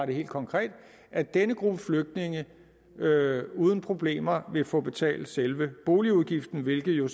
det helt konkret at denne gruppe flygtninge uden problemer vil få betalt selve boligudgiften det er jo